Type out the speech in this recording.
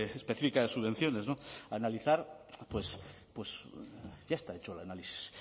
específica de subvenciones analizar ya está hecho el análisis